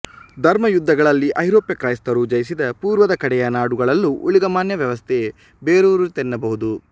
ಧರ್ಮಯುದ್ಧಗಳಲ್ಲಿ ಐರೋಪ್ಯ ಕ್ರೈಸ್ತರು ಜಯಿಸಿದ ಪೂರ್ವದ ಕಡೆಯ ನಾಡುಗಳಲ್ಲೂ ಊಳಿಗಮಾನ್ಯ ವ್ಯವಸ್ಥೆ ಬೇರೂರಿತೆನ್ನಬಹುದು